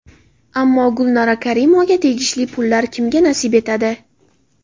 Ammo Gulnora Karimovaga tegishli pullar kimga nasib etadi?